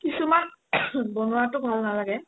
কিছুমান বোনুৱাটো ভাল নালাগে